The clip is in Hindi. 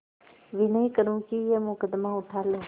विनय करुँ कि यह मुकदमा उठा लो